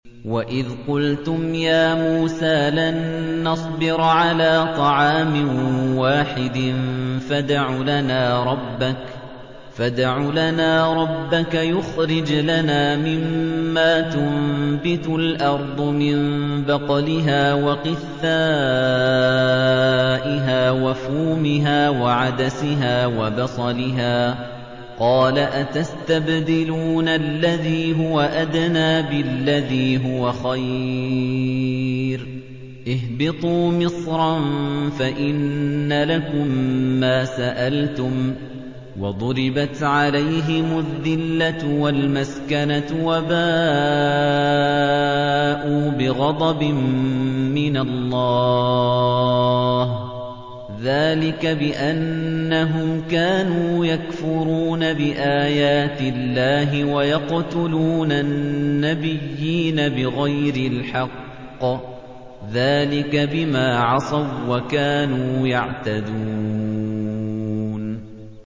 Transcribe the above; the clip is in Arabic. وَإِذْ قُلْتُمْ يَا مُوسَىٰ لَن نَّصْبِرَ عَلَىٰ طَعَامٍ وَاحِدٍ فَادْعُ لَنَا رَبَّكَ يُخْرِجْ لَنَا مِمَّا تُنبِتُ الْأَرْضُ مِن بَقْلِهَا وَقِثَّائِهَا وَفُومِهَا وَعَدَسِهَا وَبَصَلِهَا ۖ قَالَ أَتَسْتَبْدِلُونَ الَّذِي هُوَ أَدْنَىٰ بِالَّذِي هُوَ خَيْرٌ ۚ اهْبِطُوا مِصْرًا فَإِنَّ لَكُم مَّا سَأَلْتُمْ ۗ وَضُرِبَتْ عَلَيْهِمُ الذِّلَّةُ وَالْمَسْكَنَةُ وَبَاءُوا بِغَضَبٍ مِّنَ اللَّهِ ۗ ذَٰلِكَ بِأَنَّهُمْ كَانُوا يَكْفُرُونَ بِآيَاتِ اللَّهِ وَيَقْتُلُونَ النَّبِيِّينَ بِغَيْرِ الْحَقِّ ۗ ذَٰلِكَ بِمَا عَصَوا وَّكَانُوا يَعْتَدُونَ